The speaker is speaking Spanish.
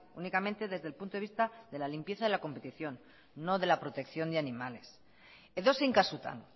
únicamente desde el punto de vista de la limpieza de la competición no de la protección de animales edozein kasutan